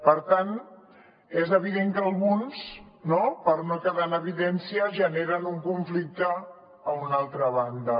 per tant és evident que alguns no per no quedar en evidència generen un conflicte a una altra banda